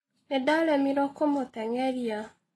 Nĩndaremirwo kũmũteng'eria.